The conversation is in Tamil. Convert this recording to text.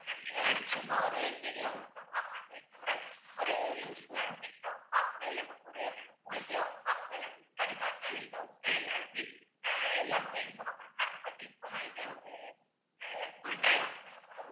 இதெல்லாம் சும்மா ஒரு தெரியாமதான் பாக்கறாங்களே தவிர ஒரு useful ஆன things ஆ அவங்க பார்க்கவே இல்லை mam ஒரு மூலிகையா அவுங்க பார்க்கவே இல்லை முன்னாடி எல்லாருமே எல்லா நோயையும் குணப்படுத்தனாங்க but இப்ப எல்லாம் இதை ஒரு அஹ்